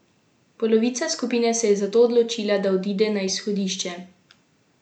Polovica skupine se je zato odločila, da odide na izhodišče.